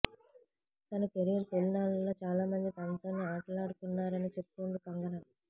తన కెరీర్ తొలినాళ్ళ లో చాలామంది తనతో ఆటలాడుకున్నారని చెప్తోంది కంగన